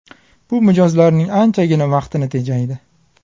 Bu mijozlarning anchagina vaqtini tejaydi.